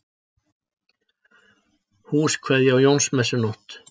Húskveðja á Jónsmessunótt